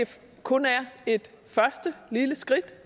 kun er et første lille skridt